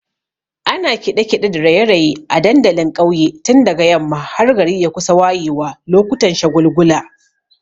Ana kiɗe-kiɗe da raye-raye a dandalin ƙauye tun daga yamma har gari ya kusa wayewa lokutan shagulgula.